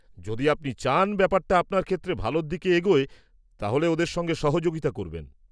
- যদি আপনি চান ব্যাপারটা আপনার ক্ষেত্রে ভালোর দিকে এগোয়, তাহলে ওঁদের সঙ্গে সহযোগিতা করবেন।